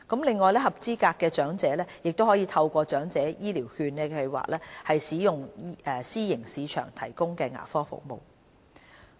此外，合資格的長者可透過長者醫療券計劃，使用私營市場提供的牙科服務。